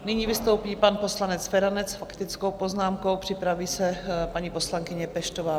Nyní vystoupí pan poslanec Feranec s faktickou poznámkou, připraví se paní poslankyně Peštová.